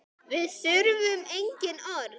Við þurfum engin orð.